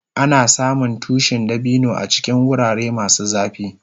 Ana samun tushin dabino a cikin wurare masu zafi.